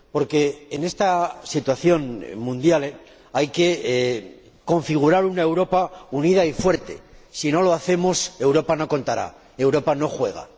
Porque, en esta situación mundial, hay que configurar una Europa unida y fuerte. Si no lo hacemos, Europa no contará, Europa no juega.